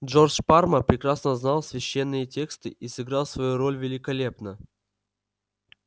джордж парма прекрасно знал священные тексты и сыграл свою роль великолепно